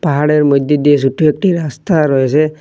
পাহাড়ের মইদ্যে দিয়ে সোট্টো একটি রাস্তা রয়েসে।